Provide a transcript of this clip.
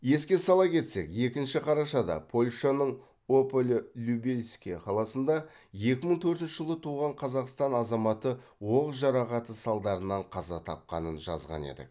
еске сала кетсек екінші қарашада польшаның ополе любельске қаласында екі мың төртінші жылы туған қазақстан азаматы оқ жарақаты салдарынан қаза тапқанын жазған едік